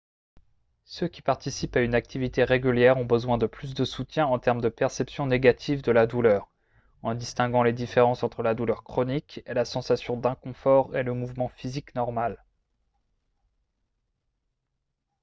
ceux qui participent à une activité régulière ont besoin de plus de soutien en termes de perception négative de la douleur en distinguant les différences entre la douleur chronique et la sensation d'inconfort et le mouvement physique normal